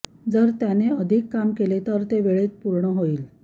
जर त्याने अधिक काम केले तर तो वेळेत पूर्ण होईल